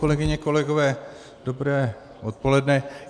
Kolegyně, kolegové, dobré odpoledne.